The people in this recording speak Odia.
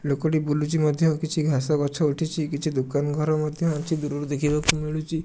ଲୋକଟି ବୁଲୁଚି ମଧ୍ୟ କିଛି ଘାସ ଗଛ ଉଠିଛି କିଛି ଦୁକାନ ଘର ମଧ୍ୟ ଅଛି ଦୂରରୁ ଦେଖିବାକୁ ମିଳୁଚି।